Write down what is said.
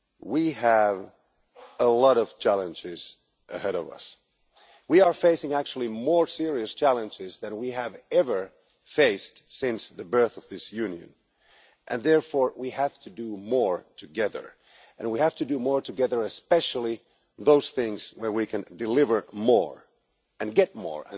We have a lot of challenges ahead of us. We are actually facing more serious challenges than we have ever faced since the birth of this Union, and therefore we have to do more together and we have to do more together especially in those things where we can deliver more and get more.